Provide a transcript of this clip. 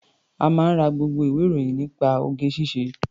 Ó máa ń ra gbogbo ìwé-ìròyìn nípa oge-ṣíṣe.